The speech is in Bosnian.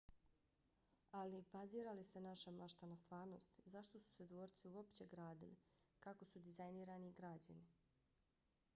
ali bazira li se naša mašta na stvarnosti? zašto su se dvorci uopće gradili? kako su dizajnirani i građeni?